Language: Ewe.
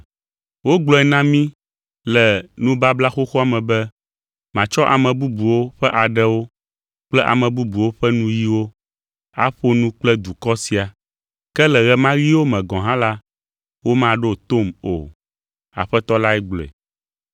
Wogblɔe na mí le Nubabla Xoxoa me be, “Matsɔ ame bubuwo ƒe aɖewo kple ame bubuwo ƒe nuyiwo aƒo nu kple dukɔ sia, ke le ɣe ma ɣiwo me gɔ̃ hã la, womaɖo tom o, Aƒetɔ la gblɔe.”